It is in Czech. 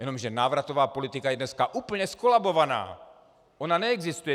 Jenomže návratová politika je dneska úplně zkolabovaná, ona neexistuje.